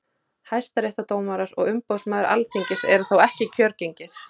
hæstaréttardómarar og umboðsmaður alþingis eru þó ekki kjörgengir